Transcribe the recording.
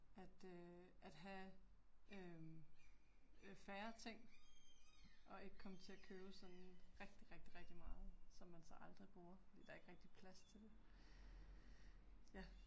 At øh at have øh øh færre ting og ikke komme til at købe sådan rigtig rigtig rigtig meget, som man så aldrig bruger, fordi der er ikke rigtig plads til det. Ja